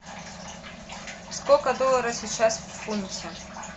сколько доллара сейчас в фунте